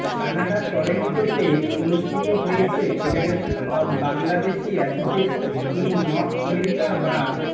কানাডার টরেন্টোতে অনুষ্ঠিত হয়েছে federation of Bangladeshi association in North America বা